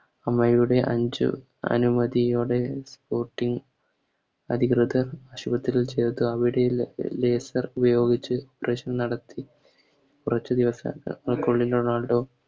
അമ്മയുടെ അഞ്ച് അനുമതിയോടെ Sporting അധികൃതർ ആശുപത്രിയിൽ ചേർത്ത് അവിടെയുള്ള Laser ഉപയോഗിച്ച് Test നടത്തി കുറച്ച് ദിവസം കൊണ്ട് റൊണാൾഡോ